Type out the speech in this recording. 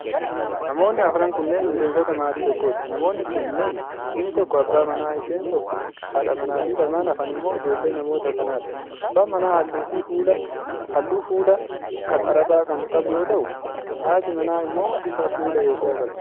Namoonni afran kunneen, miseensota maatii tokkooti. Namoonni kunneen: inni tokko abbaa manaa, isheen tokko haadha manaa fi lamaan hafan immoo ijoollee namoota kanaa dha. Abbaan manaa haalluu fuulaa kan Arabaa kan qabu yoo ta'u, haatii manaa immoo bifa fuulaa Eeshiyaa qabdi.